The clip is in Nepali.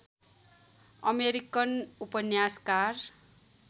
अमेरिकन उपन्यासकार